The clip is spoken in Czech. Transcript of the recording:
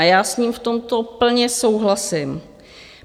A já s ním v tomto plně souhlasím.